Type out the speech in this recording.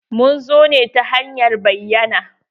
Mun zo ne ta hanyar bayyana.